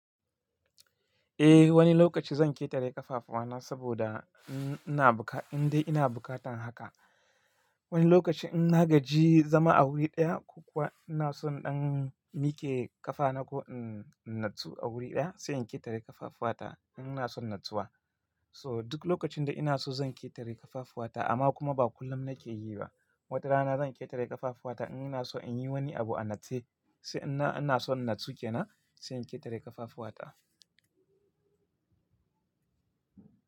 Eh wani lokaci zan ƙetare ƙafafuwa na saboda ina buka, in dai ina bukatan haka. Wani lokaci in na gaji zama a wuri ɗaya ko kuwa ina son in dan miƙe ƙafa nako in natsu a wuri ɗaya sai in ƙetare ƙafafuwa ta ina son natsuwa. So duk lokacin da ina so zan ƙetare ƙafafuwa ta amma kuma ba kullum nake yi ba. Wata rana zan ƙetare ƙafafuwa ta in ina so in yi wani abu a natse sai ina, ina son natsu kenan sai in ƙetare ƙafafuwa ta.